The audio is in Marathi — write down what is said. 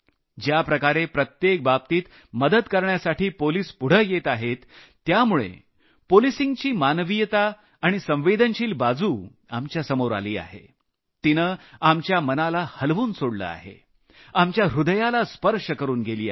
ज्या प्रकारे प्रत्येक बाबतीत मदत करण्यासाठी पोलिस पुढं येत आहेत त्यामुळे पोलिसांची मानवीय आणि संवेदनशील बाजू आपल्या समोर आली आहे तिनं आपल्या मनाला हलवून सोडलं आहे आपल्या ह्रदयाला स्पर्श करून गेली आहे